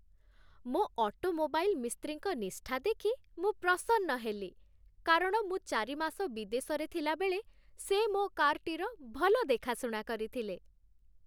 ମୋ ଅଟୋମୋବାଇଲ୍ ମିସ୍ତ୍ରୀଙ୍କ ନିଷ୍ଠା ଦେଖି ମୁଁ ପ୍ରସନ୍ନ ହେଲି, କାରଣ ମୁଁ ଚାରି ମାସ ବିଦେଶରେ ଥିଲାବେଳେ ସେ ମୋ କାର୍‌ଟିର ଭଲ ଦେଖାଶୁଣା କରିଥିଲେ।